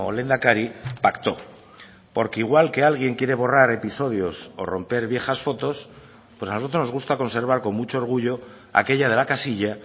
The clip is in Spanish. lehendakari pactó porque igual que alguien quiere borrar episodios o romper viejas fotos pues a nosotros nos gusta conservar con mucho orgullo aquella de la casilla